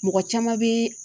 Mɔgɔ caman bɛ